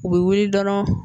U bɛ wuli dɔrɔn